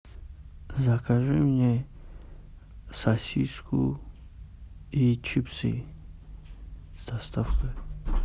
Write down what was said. закажи мне сосиску и чипсы с доставкой